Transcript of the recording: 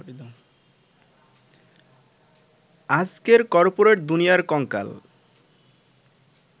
আজকের করপোরেট দুনিয়ার কঙ্কাল।